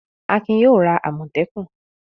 Akin yóò ra àmọ̀tẹ́kùn.